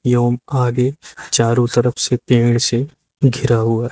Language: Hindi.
एवं आगे चारों तरफ से पेड़ से घिरा हुआ है।